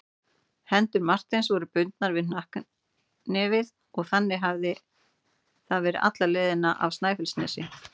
Hendur Marteins voru bundnar við hnakknefið og þannig hafði það verið alla leiðina af Snæfellsnesi.